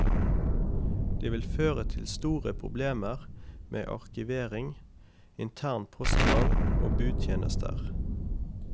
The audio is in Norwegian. Det vil føre til store problemer med arkivering, intern postgang og budtjenester.